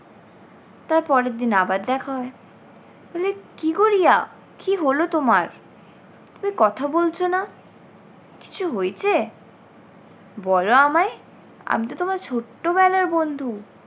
তারপরের দিন আবার দেখা হয় বলে কী গো রিয়া কী হল তোমার? তুমি কথা বলছো না কিছু হয়েছে? বলো আমায় আমি তো তোমার ছোট্ট বেলার বন্ধু।